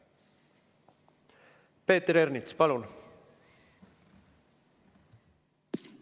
Peeter Ernits, palun!